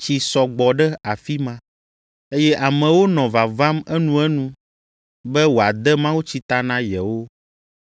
tsi sɔ gbɔ ɖe afi ma, eye amewo nɔ vavam enuenu be wòade mawutsi ta na yewo.